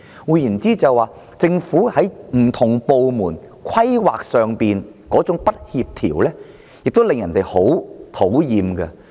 換言之，政府不同部門之間在規劃上的不協調，亦令人十分討厭。